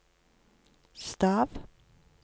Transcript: stav